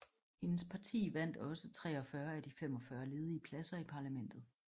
Hendes parti vandt også 43 af de 45 ledige pladser i parlamentet